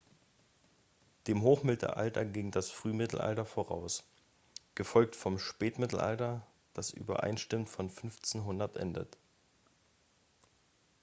dem hochmittelalter ging das frühmittelalter voraus gefolgt vom spätmittelalter das übereinstimmend um 1500 endet